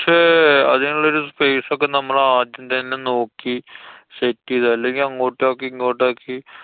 ഷെ~ അതിനുള്ളൊരു space ഒക്കെ നമ്മളു ആദ്യം തന്നെ നോക്കി set ചെയ്താ. അല്ലെങ്കി അങ്ങോട്ടാക്കി ഇങ്ങോട്ടാക്കി